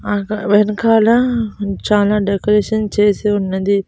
అకడ వెనకాల చానా డెకరేషన్ చేసి ఉన్నది.